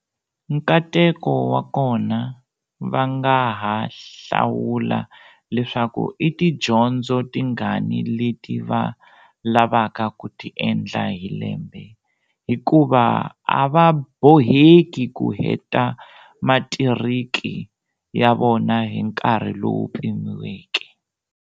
Nkateko wa kona, va nga ha hlawula leswaku i tidyondzo tingani leti va lavaka ku ti endla hi lembe hikuva a va boheki ku heta matiriki ya vona hi nkarhi lowu pimiweke.